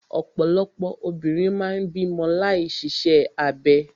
Ọ̀pọ̀lọpọ̀ obìnrin máa ń bímọ láì ṣiṣẹ́ abẹ.